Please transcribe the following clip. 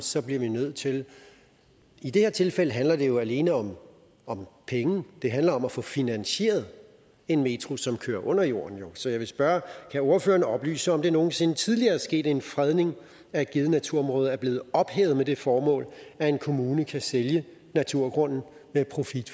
så bliver vi nødt til det i det her tilfælde handler det jo alene om om penge det handler om at få finansieret en metro som kører under jorden så jeg vil spørge kan ordføreren oplyse om det nogen sinde tidligere er sket at en fredning af et givet naturområde er blevet ophævet med det formål at en kommune kan sælge naturgrunden med profit